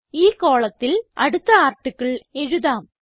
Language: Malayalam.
ഈ കോളത്തിൽ അടുത്ത ആർട്ടിക്കിൾ എഴുതാം